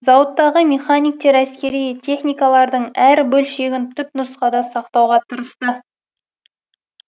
зауыттағы мехниктер әскери техникалардың әр бөлшегін тұпнұсқада сақтауға тырысты